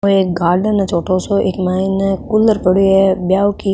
ओ एक गार्डन है छोटो सो इक मायने कूलर पड़ियो है ब्याव की --